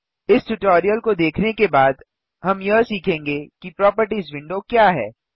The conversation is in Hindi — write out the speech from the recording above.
इस ट्यूटोरियल को देखने के बाद हम यह सीखेंगे कि प्रोपर्टिज विंडो क्या है